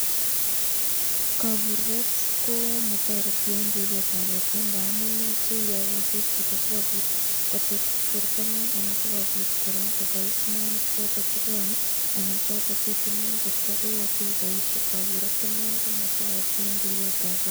Kaburet komatoreti eng ribetab borta ngamun yoche iyai kasit chito sikobit kotechak bortangung, sikobit koraa kobais mwanik choton chekeam anan choton chetinye eng borta, kaburet inei komabaisyei eng ribetab borta.